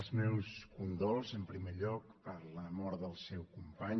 els meus condols en primer lloc per la mort del seu company